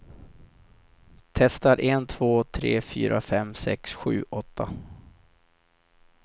Testar en två tre fyra fem sex sju åtta.